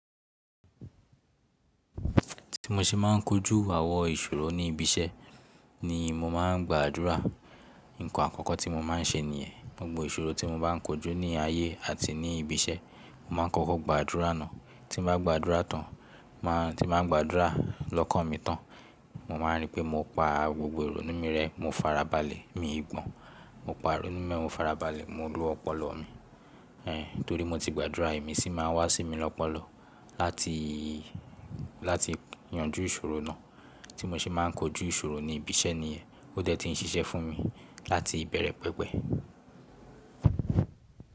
Ti mo ṣe ma n kojú àwọn ìṣòro ní ibi iṣẹ́ ni mo ma n gbàdúrà. Ǹkan àkọ́kọ́ tí mo ma n ṣe ni ẹ, gbogbo ìṣòro tí mo bá n kojú ní ayé àti ní ibi iṣẹ́, mo ma ń kọ́kọ́ gbàdúrà náà. Tí mo bá gbàdúrà tán, má tí mo bá gbàdúrà lọ́kàn mi tán, mo máa rí pé mo pa gbogbo èrò nínu rẹ, mo farabalẹ̀, mi gbọn, mo pa rẹ nínú mi, mo farabalẹ̀, mo lo ọpọlọ mi. Eh torí mo ti gbàdúrà èmi sì máa n wá sí mi lọ́pọ̀lọ̀ láti, láti yanjú ìṣòro náà. Tí mo ṣe ma n kojú ìṣòro ní ibi iṣẹ́ ní ẹ, ó tẹ́tí n ṣiṣẹ́ fún mi láti ìbẹ̀rẹ̀ pẹ̀pẹ̀